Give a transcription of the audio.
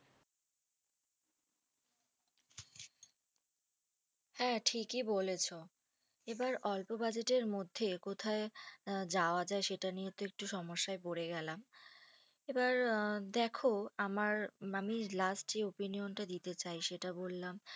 হ্যাঁ, ঠিকই বলেছো এবার অল্প বাজারের মধ্যে কোথায় আ যাওয়া যাই, সেটা নিয়ে একটু সমস্যায় পরে গেলাম এবার দেখো আমার আমি last opinion তা দিতে চাই, সেটা বললাম।